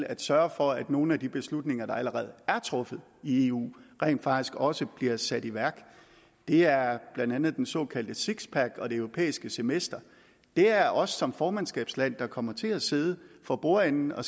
at sørge for at nogle af de beslutninger der allerede er truffet i eu rent faktisk også bliver sat i værk det er blandt andet den såkaldte six pack og det europæiske semester det er os som formandskabsland der kommer til at sidde for bordenden og